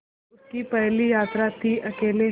यह उसकी पहली यात्रा थीअकेले